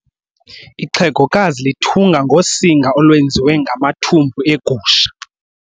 Ixhegokazi lithunga ngosinga olwenziwe ngamathumbu egusha.